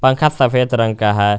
पंखा सफेद रंग का है।